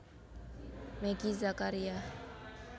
Meggy Zakaria